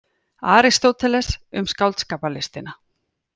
Aristóteles, Um skáldskaparlistina.